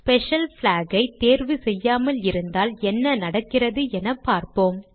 special block ஐ தேர்வு செய்யாமல் இருந்தால் என்ன நடக்கிறது என பார்ப்போம்